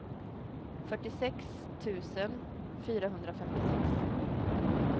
fyrtiosex tusen fyrahundrafemtiosex